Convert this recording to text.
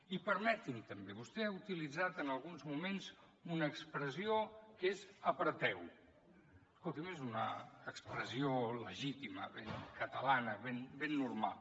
i permeti m’ho també vostè ha utilitzat en alguns moments una expressió que és apreteu que també és una expressió legítima ben catalana ben normal